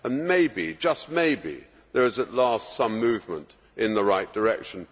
Maybe, just maybe, there is at last some movement in the right direction.